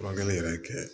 Furakɛli yɛrɛ kɛ